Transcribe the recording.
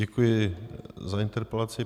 Děkuji za interpelaci.